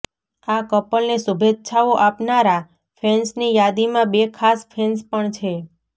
આ કપલને શુભેચ્છાઓ આપનારા ફેન્સની યાદીમાં બે ખાસ ફેન્સ પણ છે